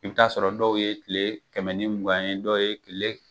Ib'i t'a sɔrɔ dɔw ye kile kɛmɛ ni mugan ye dɔw ye kile